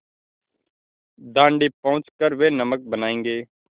दाँडी पहुँच कर वे नमक बनायेंगे